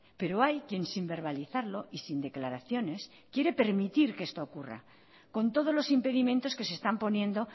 pero hay quien sin verbalizarlo y sin declaraciones quiere permitir que esto ocurra con todos los impedimentos que se están poniendo